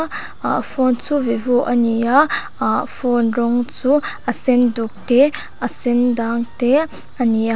a phone chu vivo a ni a ahh phone rawng chu a sen duk te a sendang te a ni a--